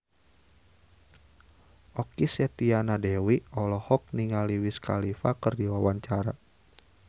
Okky Setiana Dewi olohok ningali Wiz Khalifa keur diwawancara